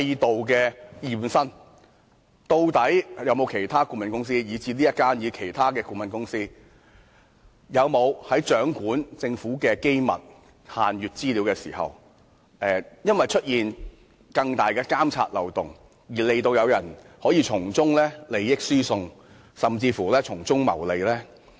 究竟有沒有其他顧問公司，即不論是這一間或其他顧問公司，在掌握政府的機密限閱資料時，因為制度存有更大的監察漏洞，令他們可從中進行利益輸送甚至謀利？